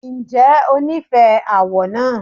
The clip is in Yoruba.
Ǹjẹ́ o nífẹ̀ẹ́ àwọ̀ náà?